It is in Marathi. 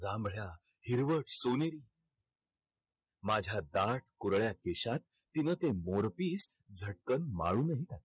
जांभळ्या, हिरवट, सोनेरी माझ्या दाट कुरळ्या केशात तिनं ते मोरपीस झटकन माळूनही टाकलं.